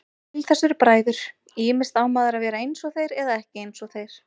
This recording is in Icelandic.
Til þess eru bræður, ýmist á maður að vera einsog þeir eða ekki einsog þeir.